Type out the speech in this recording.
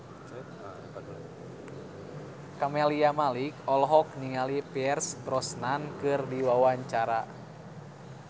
Camelia Malik olohok ningali Pierce Brosnan keur diwawancara